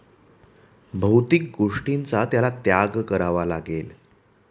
भौतिक गोष्टींचा त्याला त्याग करावा लागेल.